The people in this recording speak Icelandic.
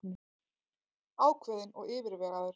Ákveðinn og yfirvegaður.